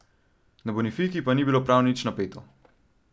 Na Bonifiki pa ni bilo prav nič napeto.